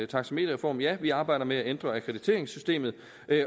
taxameterreform ja vi arbejder med at ændre akkrediteringssystemet